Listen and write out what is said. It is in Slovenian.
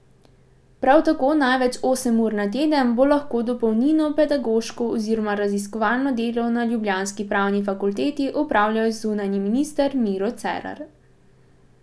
Prav tako največ osem ur na teden bo lahko dopolnilno pedagoško oziroma raziskovalno delo na ljubljanski pravni fakulteti opravljal zunanji minister Miro Cerar.